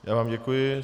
Já vám děkuji.